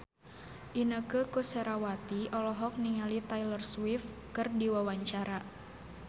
Inneke Koesherawati olohok ningali Taylor Swift keur diwawancara